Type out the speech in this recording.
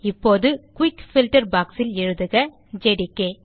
இப்போது quick filter box ல் எழுதுக ஜேடிகே